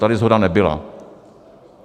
Tady shoda nebyla.